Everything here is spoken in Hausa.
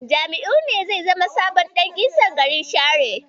Jami'u ne zai zama sabon Ɗan Isan garin Share.